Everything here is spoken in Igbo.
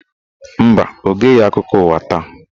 Mba, Ọ geghị akụkọ ụwa taa.